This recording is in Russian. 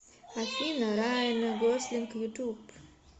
афина райан гослинг ютуб